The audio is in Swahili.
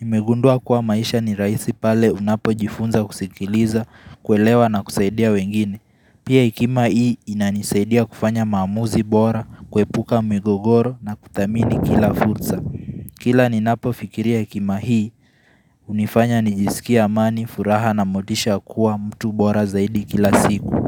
Nimegundua kuwa maishani raisi pale unapo jifunza kusikiliza, kuelewa na kusaidia wengine. Pia hekima hii inanisaidia kufanya maamuzi bora, kepuka migogoro na kudhamini kila fursa. Kila ni napo fikiria hekima hii, hunifanya nijisikia amani, furaha na motisha kuwa mtu bora zaidi kila siku.